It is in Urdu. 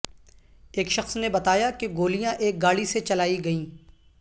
ایک شخص نے بتایا کہ گولیاں ایک گاڑی سے چلائی گئیں